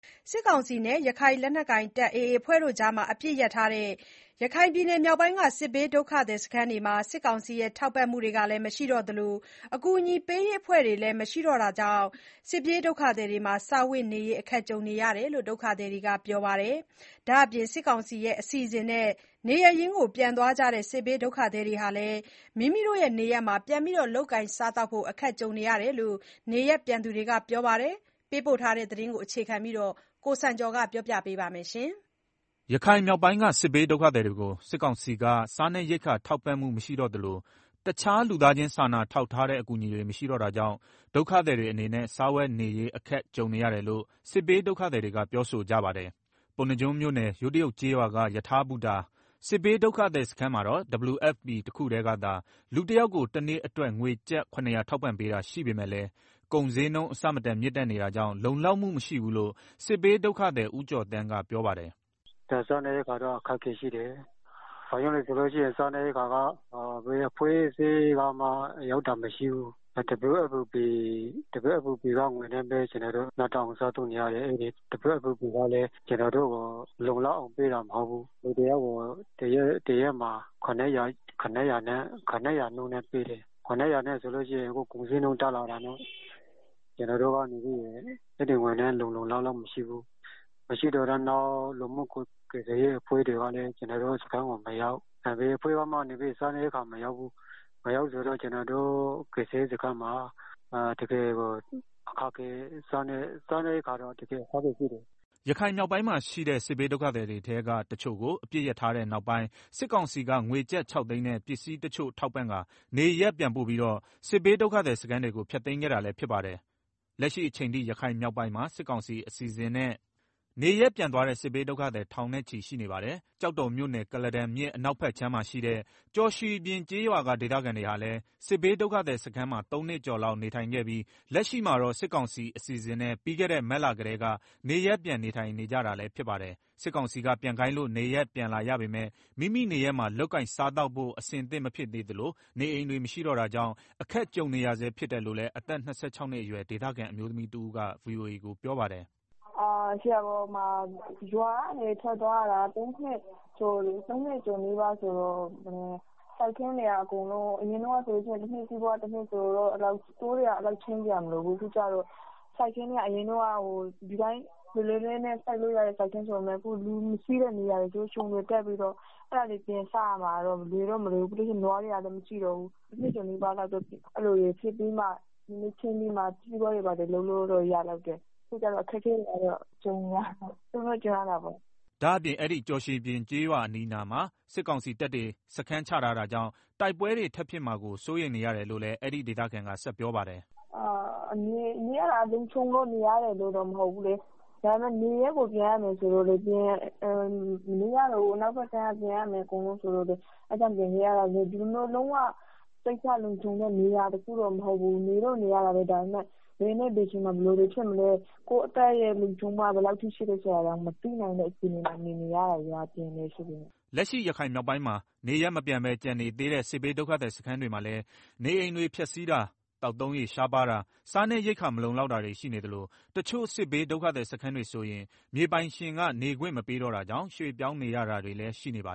စစ်ကောင်စီနဲ့ ရခိုင်လက်နက်ကိုင် AA အဖွဲ့ကြား အပစ်ရပ်ထားတဲ့ ရခိုင်ပြည်နယ်မြောက်ပိုင်းက စစ်ဘေးဒုက္ခသည်စခန်းတွေမှာ စစ်ကောင်စီရဲ့ ထောက်ပံ့မှုတွေလည်း မရှိတော့သလို အကူအညီပေးရေးအဖွဲ့တွေလည်း မရှိတော့တာကြောင့် စားဝတ်နေရေး အခက်ကြုံနေရတယ်လို့ ဒုက္ခသည်တွေက ပြောပါတယ်။ ဒါ့အပြင် စစ်ကောင်စီအစီအစဉ်နဲ့ နေရပ်ပြန်သွားကြတဲ့ စစ်ဘေးဒုက္ခသည်တွေဟာလည်း မိမိနေရပ်မှာ ပြန်လည် လုပ်ကိုင်စားသောက်ဖို့ အခက်ကြုံနေရတယ်လို့ နေရပ်ပြန်သွားသူတွေက ပြောပါတယ်။ ရန်ကုန်က ပေးပို့တဲ့ သတင်းကို အခြေခံပြီး ကိုစံကျော်က တင်ပြပေးပါမယ်။ ရခိုင်မြောက်ပိုင်းက စစ်ဘေးဒုက္ခသည်တွေကို စစ်ကောင်စီက စားနပ်ရိက္ခာထောက်ပံ့မှု မရှိတော့သလို တခြားလူသားချင်းစာနာထောက်ထားတဲ့ အကူအညီတွေ မရှိတော့တာကြောင့် ဒုက္ခသည်တွေအနေနဲ့ စားဝတ်နေရေး အခက်ကြုံနေရတယ်လို့ စစ်းဘေးဒုက္ခသည်တွေက ပြောဆိုကြပါတယ်။ ပုဏ္ဏားကျွန်းမြို့နယ်၊ ယိုးတရုတ်ကျေးရွာက ရထားဘူတာ စစ်ဘေးဒုက္ခသည်စခန်းကတော့ WFP တခုတည်းကသာ လူတယောက်ကို တနေ့အတွက် ငွေကျပ် ၇၀၀ ထောက်ပံ့ပေးတာရှိပေမယ့်လည်း ကုန်ဈေးနှုန်း အဆမတန်မြင့်တက်နေတာကြောင့် လုံလောက်မှုမရှိဘူးလို့ စစ်ဘေးဒုက္ခသည် ဦးကျော်သန်းက ပြောပါတယ်။ “စားနပ်ရိက္ခာ တကယ်ကို အခက်အခဲရှိတယ်။ ဘာကြောင့်လဲဆိုတော့ ဘယ်အဖွဲ့အစည်းကမှ စားနပ်ရိက္ခာ လာရောက် ထောက်ပံ့တာမရှိဘူး။ WFP ကပေးတဲ့ ငွေနဲ့ပဲ ကျနော်တို့ လောက်ငှအောင် စားသုံးနေရတယ်။ အဲဒီငွေကလည်း ကျနော်တို့ကို လုံလောက်အောင် ပေးတာမဟုတ်ဘူး။ လူတယောက်ကို တရက်မှာ ၇၀၀ကျပ် ပေးတယ်။ အခုက ကုန်ဈေးနှုန်းတွေ တက်နေတာနဲ့ အဲဒီငွေက လုံလောက်မှုမရှိဘူး။ မရှိတော့ နောက် လူမှုကယ်ဆယ်ရေးအဖွဲ့တွေကလည်း ကျနော်တို့စခန်းကို မရောက်၊ ဘယ်အဖွဲ့မှလည်း မရောက်။ ဆိုတော့ ကျနော်တို့ကယ် ဆယ်ရေးစခန်းမှာ တကယ်ကို အခက်အခဲရှိနေပါတယ်။” ရခိုင်မြောက်ပိုင်းမှာရှိတဲ့ စစ်ဘေးဒုက္ခသည်တွေထဲက တချို့ကို အပစ်ရပ်ထားတဲ့နောက်ပိုင်း စစ်ကောင်စီက ငွေကျပ် ၆သိန်းနဲ့ ပစ္စည်းတချို့ထောက်ပံ့ကာ နေရပ်ပြန်ပို့ပြီးတော့ စစ်ဘေးဒုက္ခသည်စခန်းတွေကို ဖျက်သိမ်းခဲ့တာလည်း ဖြစ်ပါတယ်။ လက်ရှိအချိန်ထိ ရခိုင်မြောက်ပိုင်းမှာ စစ်ကောင်စီအစီအစဉ်နဲ့ နေရပ်ပြန်သွားတဲ့ စစ်ဘေးဒုက္ခသည် ထောင်နဲ့ချီ ရှိနေပါတယ်။ ကျောက်တော်မြို့နယ်၊ ကုလားတန်မြစ်အနောက်ဖက်ခြမ်းမှာရှိတဲ့ ကျော်ရွှီပြင် ကျေးရွာက ဒေသခံတွေဟာလည်း စစ်ဘေးဒုက္ခသည်စခန်းမှာ ၃နှစ်ကျော်လောက် နေထိုင်ခဲ့ပြီး လက်ရှိမှာတော့ စစ်ကောင်စီအစဉ်အစဉ်နဲ့ ပြီးခဲ့တဲ့ မတ်လကတည်းက နေရပ်ပြန် နေထိုင်နေကြတာလည်း ဖြစ်ပါတယ်။ စစ်ကောင်စီက ပြန်ခိုင်းလို့ နေရပ်ပြန်လာရပေမယ့် မိမိနေရပ်မှာ လုပ်ကိုင်စားသောက်ဖို့ အဆင်သင့်မဖြစ်သေးသလို နေအိမ်တွေ မရှိတော့တာကြောင့် အခက်ကြုံနေရဆဲ ဖြစ်တယ်လို့လည်း အသက် ၂၆နှစ်အရွယ် ဒေသခံအမျိုးသမီးတဦးက ပြောပါတယ်။ “ရွာကနေ ထွက်သွားတာ သုံးနှစ်ကျော်နီးပါးဆိုတော့ စိုက်ခင်းတွေက အကုန်လုံး အရင်တုန်းကဆိုရင် တနှစ်စာ တနှစ် လုပ်နေတာဆိုတော့ အဲလောက် ရှင်းစရာမလိုဘူး။ အရင်က ဒီအတိုင်း လွယ်လွယ်နဲ့ စိုက်လို့ရတဲ့ စိုက်ခင်းဆိုပေမယ့်၊ လူမရှိတဲ့နေရာတွေ ခြုံတွေတက်ပြီးတော့ အဲတာတွေ ပြန်စရမှာတော့ မလွယ်တော့ မလွယ်ဘူး။ ပြီးတော့ နွားတွေကလည်း မရှိတော့ဘူး။ တနှစ်ကျော်နီးပါးလောက်နေပြီးမှ စီးပွားတွေ ဘာတွေ ပြန်စလုပ်လို့ရမှာ။ အခုတော့ အခက်အခဲကြုံရတာပေါ့။” ဒါ့အပြင် အဲဒီ ကျော်ရွှီပြင် ကျေးရွာအနီးမှာ စစ်ကောင်စီတပ်တွေ စခန်းချထားတာကြောင့် တိုက်ပွဲတွေ ထပ်ဖြစ်မှာကို စိုးရိမ်နေရတယ်လို့လည်း အဲဒီ ဒေသခံက ဆက်ပြောပါတယ်။ “နေရတာက လုံခြုံလို့နေရတာတော့ မဟုတ်ဘူးလေ။ ဒါပေမယ့် အနောက်ဖက်ကမ်းက လူတွေမနေရတော့ဘူး၊ နေရပ်ကို အကုန်ပြန်ရမယ်ဆိုလို့ ပြန်လာရတာ။ ဒီလိုမျိုး လုံးဝ စိတ်ချလုံခြုံလို့ရတဲ့ နေရာတော့ မဟုတ်ဘူး။ နေတော့နေရတယ်၊ ဒါပေမယ့် ဘယ်နေ့ဘယ်အချိန်မှာ ဘယ်လိုတွေဖြစ်မလဲ၊ ကိုယ့်အသက်အန္တရာယ် လုံခြုံမှုက ဘယ်လောက်ထိရှိလဲ မသိတဲ့အခြေအနေမှာ နေနေရတာပါ။” လက်ရှိ ရခိုင်မြောက်ပိုင်းမှာ နေရပ်မပြန်ပဲ ကျန်နေသေးတဲ့ စစ်ဘေးဒုက္ခသည်စခန်းတွေမှာလည်း နေအိမ်တွေဖျက်စီးတာ၊ သောက်သုံးရေ ရှားပါးတာ၊ စားနပ်ရိက္ခာ မလုံလောက်တာတွေ ရှိနေသလို တချို့စစ်ဘေးဒုက္ခသည်စခန်းတွေဆိုရင် မြေပိုင်ရှင်က နေခွင့်မပေးတော့တာကြောင့် ရွှေပြောင်းပေးရတာတွေလည်း ရှိနေတာပါ